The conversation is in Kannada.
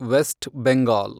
ವೆಸ್ಟ್ ಬೆಂಗಾಲ್